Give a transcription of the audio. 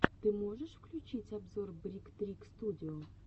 ты можешь включить обзор брик трик студио